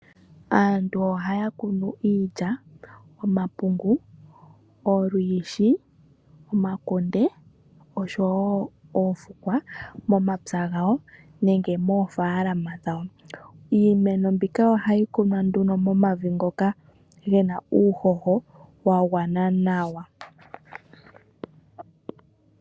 Aantu ohaya kunu iilya, omapungu, olwiishi, omakunde, osho wo oofukwa momapya gawo nenge moofaalama dhawo. Iimeno mbika ohayi kunwa nduno momavi ngoka ge na uuhoho wa gwana nawa.